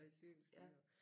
Et cykelstyr